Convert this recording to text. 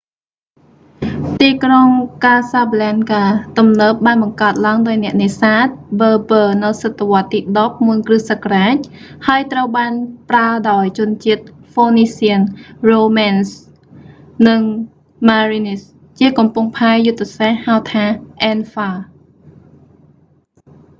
ទីក្រុង casablanca ទំនើបបានបង្កើតឡើងដោយអ្នកនេសាទ berber នៅសតវត្សរ៍ទី 10 មុន គ.ស. ហើយត្រូវបានប្រើដោយជនជាតិ phoenicians romans and merenids ជាកំពង់ផែយុទ្ធសាស្ត្រ ហៅថា anfa